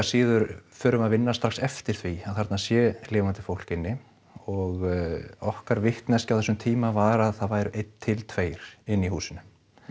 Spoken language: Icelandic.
síður förum við að vinna strax eftir því að þarna sé lifandi fólk inni og okkar vitneskja á þessum tíma var að það væru einn til tveir inni í húsinu